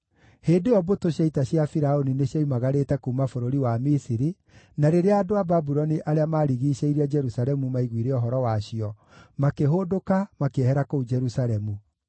Hĩndĩ ĩyo mbũtũ cia ita cia Firaũni nĩcioimagarĩte kuuma bũrũri wa Misiri, na rĩrĩa andũ a Babuloni arĩa maarigiicĩirie Jerusalemu maiguire ũhoro wacio, makĩhũndũka, makĩehera kũu Jerusalemu.